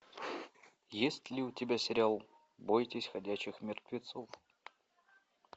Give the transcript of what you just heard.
есть ли у тебя сериал бойтесь ходячих мертвецов